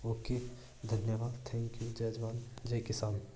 Okay धन्यवाद thank you जय जवान जय किसान।